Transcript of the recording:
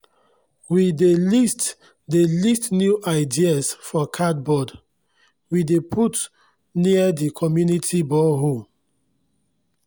we dey list dey list new ideas for cardboard wey dem put near di community borehole